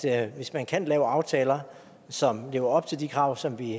er at hvis man kan lave aftaler som lever op til de krav som vi